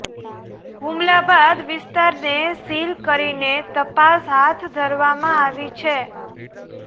હુમલા બાદ વિસ્તારને સીલ કરીને તપાસ હાથ ધરવામાં આવી છે